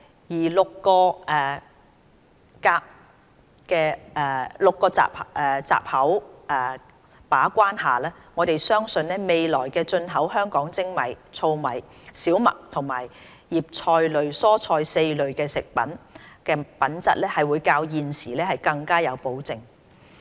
在6個閘口把關下，我們相信未來進口香港的精米、糙米、小麥和葉菜類蔬菜4類食品的品質會較現時更有保證。